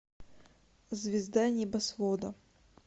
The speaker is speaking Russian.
звезда небосвода